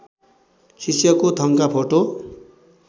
शिष्यको थङका फोटो